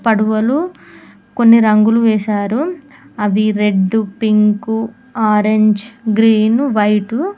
పడవలు కొన్ని రంగులు వేశారు అవి red pink orange green white .